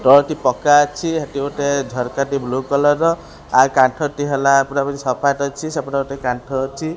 ଟ୍ର ଟି ପକା ଅଛି ସେଠି ଗୋଟେ ଝର୍କାଟି ବ୍ଲୁ କଲର ର ଆଉ କାଠଟି ହେଲା ପୁରାପୁରି ସଫାନ ଅଛି ସେପଟେ ଗୋଟେ କାଠ ଅଛି।